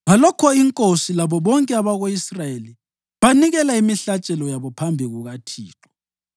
Ngalokho inkosi labo bonke abako-Israyeli banikela imihlatshelo yabo phambi kukaThixo.